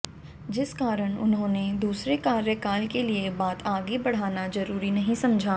जिस कारण उन्होंने दूसरे कार्यकाल के लिए बात आगे बढ़ाना जरूरी नहीं समझा